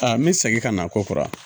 Aa n bɛ segin ka na ko kɔrɔ